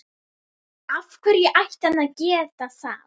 Af hverju ætti hann að geta það?